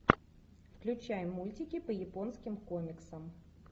включай мультики по японским комиксам